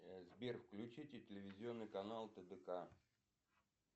сбер включите телевизионный канал тдк